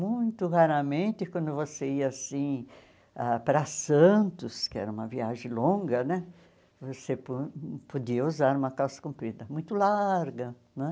Muito raramente, quando você ia assim ah para Santos, que era uma viagem longa né, você po podia usar uma calça comprida muito larga né.